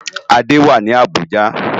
Ade wá ni Abuja